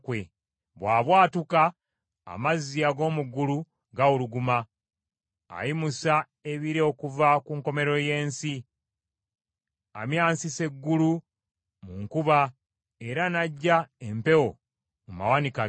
Bw’abwatuka, amazzi ag’omu ggulu gawuluguma; ayimusa ebire okuva ku nkomerero y’ensi. Amyansisa eggulu mu nkuba era n’aggya empewo mu mawanika ge.